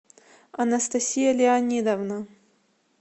анастасия леонидовна